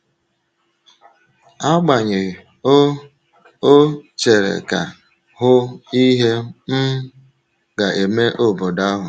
Agbanyeghị, ọ ọ chere ka “hụ ihe um ga-eme obodo ahụ”.